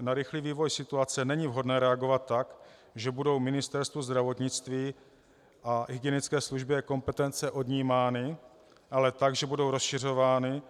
Na rychlý vývoj situace není vhodné reagovat tak, že budou Ministerstvu zdravotnictví a hygienické službě kompetence odnímány, ale tak, že budou rozšiřovány